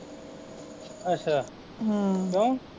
ਅੱਛਾ ਹਮ ਕਿਓ